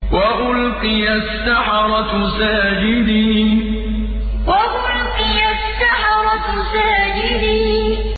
وَأُلْقِيَ السَّحَرَةُ سَاجِدِينَ وَأُلْقِيَ السَّحَرَةُ سَاجِدِينَ